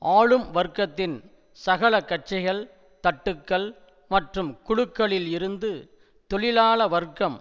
ஆளும் வர்க்கத்தின் சகல கட்சிகள் தட்டுக்கள் மற்றும் குழுக்களில் இருந்து தொழிலாள வர்க்கம்